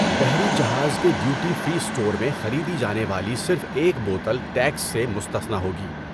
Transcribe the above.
بحری جہاز کے ڈیوٹی فری اسٹور میں خریدی جانے والی صرف ایک بوتل ٹیکس سے مستثنیٰ ہوگی۔